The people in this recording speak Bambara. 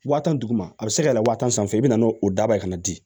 Waa tan duguma a bɛ se ka yɛlɛ wa tan sanfɛ i bɛ na n'o daba ye ka na di